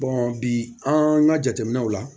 bi an ka jateminɛw la